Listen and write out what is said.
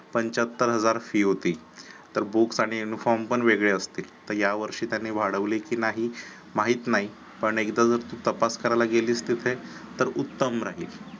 पंचाहत्तर हजार fees होती तर books आणि uniform पण वेगळे असते तर यावर्षी त्यांनी वाढवली की नाही माहित नाही पण एकदा जर तू तपास करायला गेलीस तिथे तर उत्तम राहील.